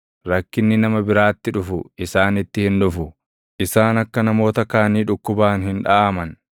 Rakkinni nama biraatti dhufu isaanitti hin dhufu; isaan akka namoota kaanii dhukkubaan hin dhaʼaman.